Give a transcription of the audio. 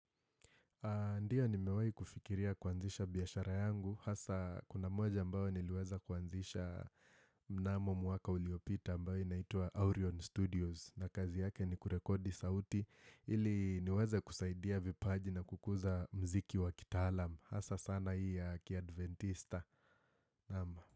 Ndiyo nimewahi kufikiria kuanzisha biashara yangu, hasa kuna moja ambao niliweza kuanzisha mnamo mwaka uliopita ambao inaitwa Aurion Studios na kazi yake ni kurekodi sauti, ili niweze kusaidia vipaji na kukuza mziki wa kitaalam, hasa sana hii ya kiadventista.